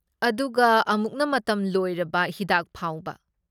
ꯑꯗꯨꯒ ꯑꯃꯨꯛꯅ ꯃꯇꯝ ꯂꯣꯏꯔꯕ ꯍꯤꯗꯥꯛꯐꯥꯎꯕ꯫